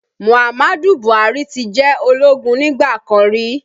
Muhammadu Buhari ti jẹ́ ológun nígbà kan rí